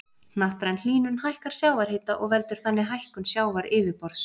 Hnattræn hlýnun hækkar sjávarhita og veldur þannig hækkun sjávaryfirborðs.